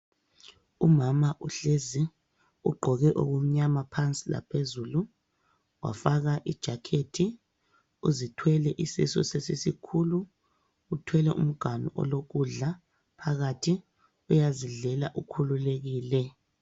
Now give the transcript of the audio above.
Umama uhlezi ugqoke okumnyama phansi laphezulu wafaka ijakhethi uzithwele isisu sesisikhulu uthwele umganu olokudla phakathi uyazidlela ukhululekile.